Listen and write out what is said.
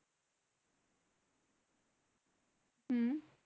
উম